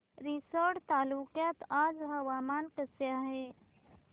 रिसोड तालुक्यात आज हवामान कसे आहे